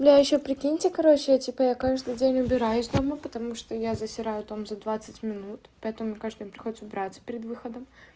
бля ещё прикиньте короче типа я каждый день убираюсь дома потому что я засираю дом за двадцать минут поэтому мне каждый день приходится убираться перед выходом